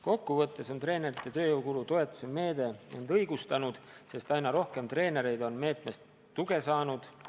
Kokku võttes on treenerite tööjõu kulu toetuse meede end õigustanud, sest aina rohkem treenereid on selle meetme raames tuge saanud.